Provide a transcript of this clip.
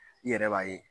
I yɛrɛ b'a ye